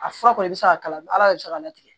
A fura kɔni i bɛ se k'a kala ala de bɛ se k'a latigɛ